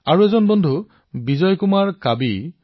যেনে আৰু এজন সতীৰ্থ বিজয় কুমাৰ কাবী জী